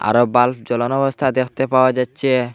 আরো বাল্ব জ্বলানো অবস্থায় দেখতে পাওয়া যাচ্চে।